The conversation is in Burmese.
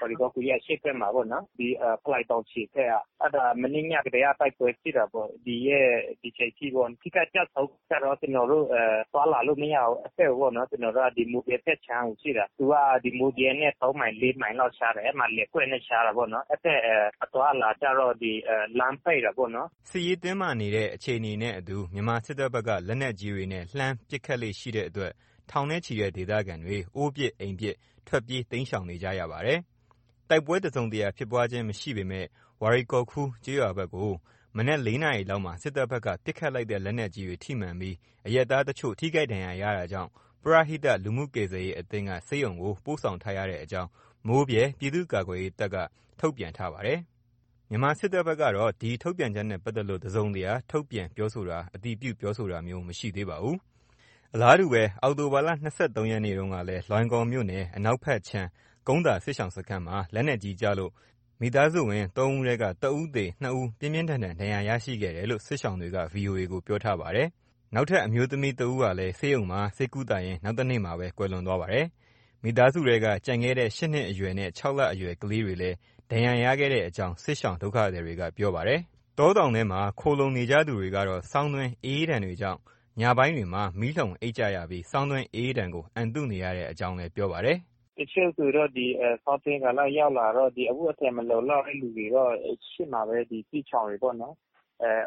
ဝါရီကောခူရဲ့ အရှေ့ဖက်မှာပေါ့နော် ဒီဖလိုင်တောင်ခြေဖက်က အဲ့ဒါမနေ့ညကတည်းက တိုက်ပွဲဖြစ်တာပေါ့ ဒီရက် ဒီအချိန်ထိပေါ့ ထိခိုက်ကျဆုံးခါကျတော့ ကျနော်တို့ သွားလာလို့မရဘူး အဖက်ကိုပေါ့နော် ကျနော်တို့က ဒီမိုးဗြဲဖက်ခြံကိုရှိတာ သူက ဒီမိုးဗြဲနဲ့ ၃မိုင် ၄မိုင်လောက်ခြားတယ် အဲ့မှာလယ်ကွက်နဲ့ခြားတာပေါ့နော် အဲ့ဖက်အသွားအလာကျတော့ ဒီလမ်းပိတ်တာပေါ့နော်။” စစ်ရေး တင်းမာမှုနေတဲ့ အခြေအနေနဲ့အတူ မြန်မာစစ်တပ်ဘက်က လက်နက်ကြီးတွေနဲ့ လှမ်းပစ်ခတ်လေ့ ရှိတဲ့အတွက် ထောင်နဲ့ချီတဲ့ ဒေသခံတွေ အိုးပစ်အိမ်ပစ် ထွက်ပြေး တိမ်းရှောင်နေကြရပါတယ်။ တိုက်ပွဲ တစုံတရာဖြစ်ပွားခြင်းမရှိပေမဲ့ ဝါရီကောခူကျေးရွာဖက်ကို ဒီနေ့ မနက် ၄နာရီလောက်မှာ စစ်တပ်ဘက်က ပစ်ခတ်လိုက်တဲ့ လက်နက်ကြီးတွေ ထိမှန်ပြီး အရပ်သားတချို့ ထိခိုက်ဒဏ်ရာရတာကြောင့် ပရဟိတ လူမှုကယ်ဆယ်ရေးအသင်းက ဆေးရုံကို ပို့ဆောင်ထားရတဲ့အကြောင်း မိုးဗြဲပြည်သူ့ကာကွယ်ရေးတပ်က ဒီနေ့ ထုတ်ပြန်ထားပါတယ်။ မြန်မာစစ်တပ်ဘက်ကတော့ ဒီထုတ်ပြန်ချက်နဲ့ ပတ်သက်လို့ တစုံတရာ ထုတ်ပြန် ပြောဆိုတာ အတည်ပြုပြောဆိုတာ မရှိသေးပါဘူး။ အလားတူ အောက်တိုဘာ ၂၃ ရက်နေ့တုန်းကလည်း လွိုင်ကော်မြို့နယ် အနောက်ဖက်ခြမ်း ကုန်းသာစစ်ရှောင်စခန်းမှာ လက်နက်ကြီးကျလို့ မိသားစုဝင် သုံးဦးထဲက ၁ ဦးသေ ၂ဦးပြင်းထန်ဒဏ်ရရှိခဲ့တယ် စစ်ရှောင်တွေက VOA ကို ပြောထားပါတယ်။ သေဆုံးသူရဲ့ အမျိုးသမီးဖြစ်ဟာ ဆေးရုံမှာ ဆေးကုသရင်း နောက်တနေ့ ကွယ်လွန်သွားပါတယ်။ မိသားစုထဲက ကျန်ခဲ့တဲ့ ၈နှစ်အရွယ်နဲ့ ၆ လ အရွယ် ကလေးတွေလည်း ဒဏ်ရာရခဲ့တဲ့အကြောင်း စစ်ရှောင် ဒုက္ခသည်တွေက ပြောပါတယ်။ တောတောင်ထဲမှာ ခိုလှုံနေကြသူတွေကတော့ ဆောင်းတွင်း အအေးဒဏ်တွေကြောင့် ညပိုင်းတွေမှာ မီးလှုံအိပ်ကြရပြီး ဆောင်းတွင်း အအေးဒဏ်ကို အံတုနေရတဲ့အကြောင်းလည်း ပြောပါတယ်။ “တချို့ဆိုတော့ ဒီဆောင်းတွင်းကာလရောက်လာတော့ ဒီအဝတ်အထည် မလုံလောက်တဲ့ လူတွေတော့ ရှိမှာပဲ ဒီစစ်ရှောင်တွေပေါနော်။